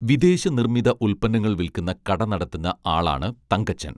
വിദേശ നിർമ്മിത ഉൽപ്പനങ്ങൾ വിൽക്കുന്ന കട നടത്തുന്ന ആളാണ് തങ്കച്ചൻ